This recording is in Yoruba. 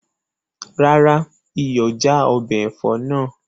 Rárá, iyọ̀ já ọbẹ̀ ẹ̀fọ́ náà